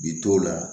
Bi t'o la